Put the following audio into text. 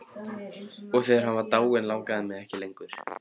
Og þegar hann var dáinn langaði mig ekki lengur.